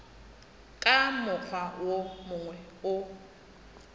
ka mokgwa wo mongwe o